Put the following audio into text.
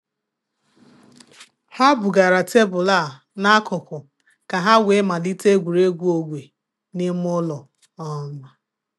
Ha bugara tebụl a n' akụkụ ka ha wee malite egwuregwu ogwe n’ime ụlọ. um